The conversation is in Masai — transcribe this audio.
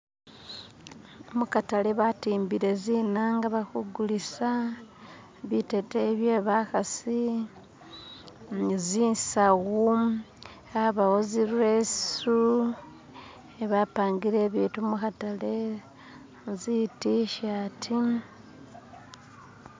Mukhatale batimbile tsinanga bakhugulitsa, biteteyi bye bakhatsi ni zitsawu habawo tsirwetsu khebampangile ebintu mukhatale, ezitishati